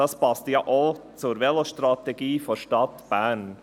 Das passt ja auch zur Vetostrategie der Stadt Bern.